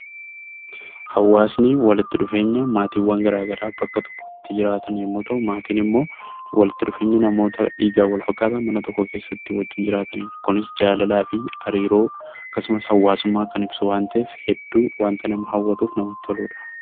Hawaasni walitti dhufeenya maatiiwwan garaa garaa bakka tokkotti jiraatan yommuu ta'u, maatiin immoo walitti dhufeenya namoota dhiigaan wal fakkaatan, mana tokko keessatti wajjin jiraatanidha. Kunis jaalalaa fi hariiroo akkasumas hawaasummaa kan ibsu waan ta'eef, hedduu waanta nama hawwatuu fi namatti toludha.